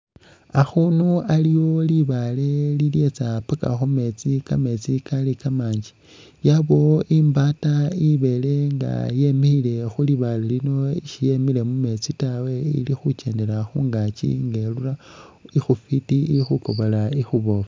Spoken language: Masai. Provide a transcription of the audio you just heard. Akhundu aliwo libale lilyetsa paka khu meetsi kameetsi kali kamanji yabawo imbaata ibele nga yemikhile khulibale lino shiyemile mumeetsi tawe ali khutsendela khungakyi nga irura ikhufiti ikhukobola ikhubofu.